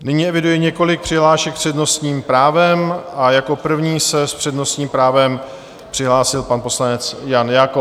Nyní eviduji několik přihlášek s přednostním právem a jako první se s přednostním právem přihlásil pan poslanec Jan Jakob.